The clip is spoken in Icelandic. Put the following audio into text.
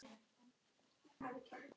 Ég hef alltaf verið hraust.